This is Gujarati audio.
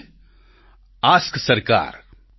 એક એપ છે એએસકે સરકાર